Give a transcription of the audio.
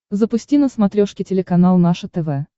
запусти на смотрешке телеканал наше тв